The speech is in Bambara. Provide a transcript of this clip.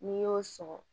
N'i y'o sɔgɔ